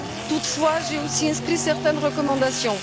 Toutefois, j'ai aussi inscrit certaines recommandations.